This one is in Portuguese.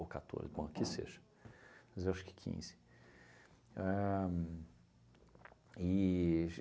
ou catorze, bom, que seja, mas eu acho que quinze. Ahn e